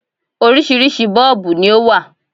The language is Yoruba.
Oríṣiríṣi 'Bọ́ọ̀bù' ni ó wà